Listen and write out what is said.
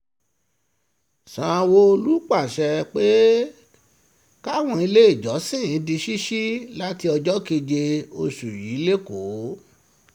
sanwó-olu pàṣẹ pé káwọn iléèjọsìn di ṣíṣí láti ọjọ́ keje oṣù yìí lẹ́kọ̀ọ́